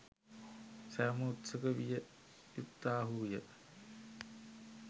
සැවොම උත්සුක විය යුත්තාහුය.